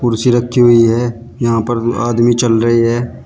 कुर्सी रखी हुई है यहां पर आदमी चल रहे है।